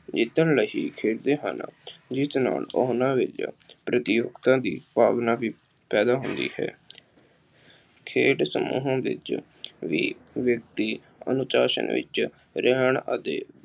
ਜਿੱਤਣ ਲਈ ਖੇਡਦੇ ਹਨ, ਜਿਸ ਨਾਲ ਉਹਨਾ ਵਿੱਚ ਦੀ ਭਾਵਨਾ ਵੀ ਪੈਦਾ ਹੁੰਦੀ ਹੈ। ਖੇਡ ਸਮੂਹ ਵਿੱਚ ਵੀ ਵਿਅਕਤੀ ਅਨੁਸਾਸ਼ਨ ਵਿੱਚ ਰਹਿਣ ਅਤੇ